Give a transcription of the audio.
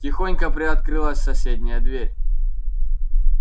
тихонько приоткрылась соседняя дверь